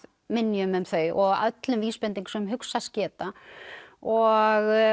minjum um þau og öllum vísbendingum sem hugsast geta og